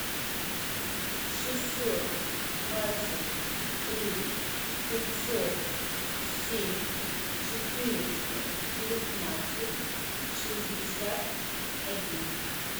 шестьсот двадцать три пятьсот семь четыреста девятнадцать шестьдесят один